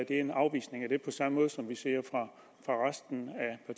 en afvisning af det på samme måde som vi ser fra resten